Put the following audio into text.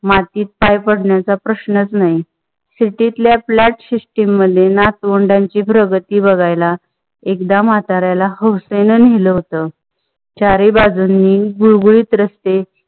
मातीत पाय पडण्याच प्रश्नच नाही. city तल्या flat system मध्ये नातवंडांची प्रगती बघायला एकदा माताऱ्याला हौसेनं नेलं होत. चाराई बाजूनी गुळगुळीत रस्ते